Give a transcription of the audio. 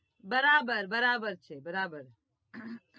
બરાબર બરાબર છે બરાબર